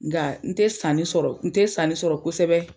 Nga n tɛ sanni sɔrɔ, n tɛ sanni sɔrɔ kosɛbɛ.